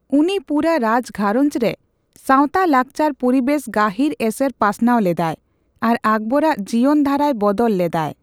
ᱩᱱᱤ ᱯᱩᱨᱟᱹ ᱨᱟᱡᱽ ᱜᱷᱟᱨᱚᱧᱡ ᱨᱮ ᱥᱟᱸᱣᱛᱟᱼᱞᱟᱠᱪᱟᱨ ᱯᱩᱨᱤᱵᱮᱥ ᱜᱟᱹᱦᱤᱨ ᱮᱥᱮᱨ ᱯᱟᱥᱱᱟᱣ ᱞᱮᱫᱟᱭ ᱟᱨ ᱟᱠᱵᱚᱨ ᱟᱜ ᱡᱤᱭᱚᱱ ᱫᱷᱟᱨᱟᱭ ᱵᱚᱫᱚᱞ ᱞᱮᱫᱟᱭ ᱾